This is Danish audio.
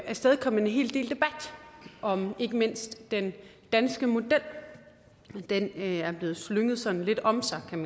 afstedkommet en hel del debat om ikke mindst den danske model den er der blevet slynget sådan lidt om sig med